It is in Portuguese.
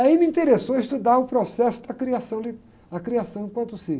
Aí me interessou estudar o processo da criação li, da criação enquanto si.